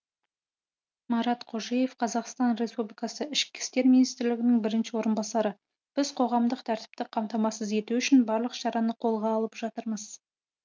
марат қожаев қазақстан республикасы ішкі істер министрінің бірінші орынбасары біз қоғамдық тәртіпті қамтамасыз ету үшін барлық шараны қолға алып жатырмыз